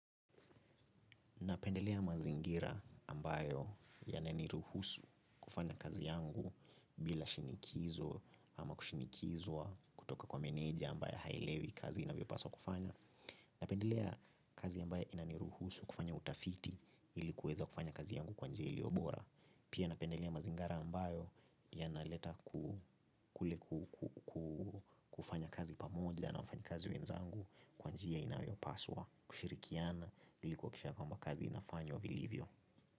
Napendelea mazingira ambayo yananiruhusu kufanya kazi yangu bila shinikizo ama kushinikizwa kutoka kwa meneja ambayo hailewi kazi inavyopaswa kufanywa. Napendelea kazi ambayo inaniruhusu kufanya utafiti ili kuweza kufanya kazi yangu kwa njia ilio bora. Pia napendelea mazingara ambayo yanaleta kufanya kazi pamoja na wafanyikazi wenzangu kwa njia inayopaswa kushirikiana ili kuakikisha kwamba kazi inafanywa vilivyo.